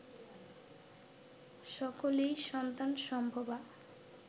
সকলেই সন্তান সম্ভবা